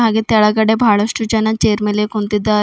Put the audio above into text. ಹಾಗೆ ತೆಲಗಡೆ ಬಹಳಷ್ಟು ಜನ ಚೇರ್ ಮೇಲೆ ಕುಂತಿದ್ದಾ--